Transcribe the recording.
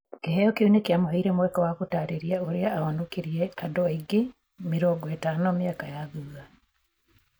Kĩheo kĩu nĩ kĩamũheire mweke wa gũtaarĩria ũrĩa aahonokirie andũ angĩ mĩrongo ĩtano mĩaka ya thuutha.